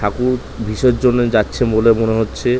ঠাকুর বিসর্জন এ যাচ্ছে বলে মনে হচ্ছে ।